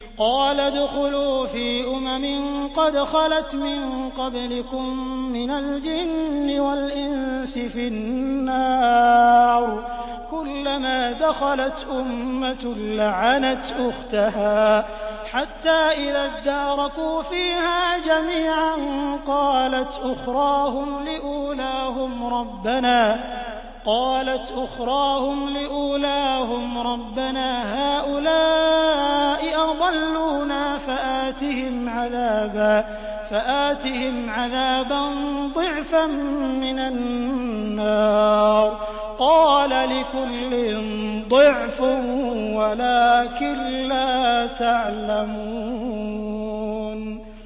قَالَ ادْخُلُوا فِي أُمَمٍ قَدْ خَلَتْ مِن قَبْلِكُم مِّنَ الْجِنِّ وَالْإِنسِ فِي النَّارِ ۖ كُلَّمَا دَخَلَتْ أُمَّةٌ لَّعَنَتْ أُخْتَهَا ۖ حَتَّىٰ إِذَا ادَّارَكُوا فِيهَا جَمِيعًا قَالَتْ أُخْرَاهُمْ لِأُولَاهُمْ رَبَّنَا هَٰؤُلَاءِ أَضَلُّونَا فَآتِهِمْ عَذَابًا ضِعْفًا مِّنَ النَّارِ ۖ قَالَ لِكُلٍّ ضِعْفٌ وَلَٰكِن لَّا تَعْلَمُونَ